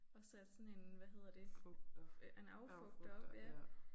Og satte sådan en hvad hedder det en affugter op ja